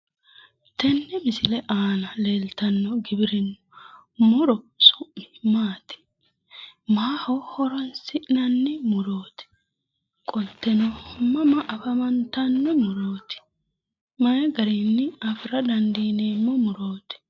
tenne misile aana leeltanni noo muro su'mi maati? maaho horonsi'nanni murooti? qolteno mama afantanno murooti? mayi garinni afira dandiineemmo murooti?